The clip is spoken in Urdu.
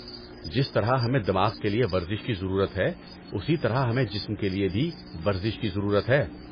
جس طرح ہمیں دماغ کے لیے ورزش کی ضرورت ہے، اسی طرح ہمیں جسم کے لیے بھی ورزش کی ضرورت ہے۔